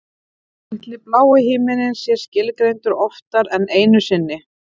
Ætli blái himininn sé skilgreindur oftar en einu sinni?